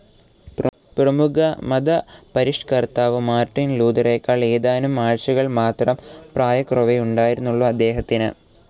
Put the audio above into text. പ്രമുഖ മതപരിഷ്ക്കർത്താവ് മാർട്ടിൻ ലൂതറേക്കാൾ ഏതാനും ആഴ്ചകൾ മാത്രം പ്രായക്കുറവേ ഉണ്ടായിരുന്നുള്ളൂ അദ്ദേഹത്തിന്.